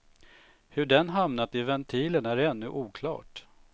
Hur den hamnat i ventilen är ännu oklart.